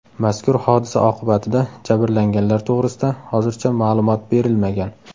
Mazkur hodisa oqibatida jabrlanganlar to‘g‘risida hozircha ma’lumot berilmagan.